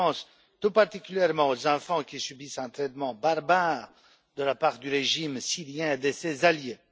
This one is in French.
Je pense tout particulièrement aux enfants qui subissent un traitement barbare de la part du régime syrien et de ses alliés.